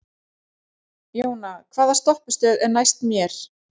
Jóna, hvaða stoppistöð er næst mér?